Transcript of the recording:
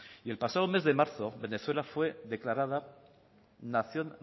y el pasado mes de marzo venezuela fue declarada nación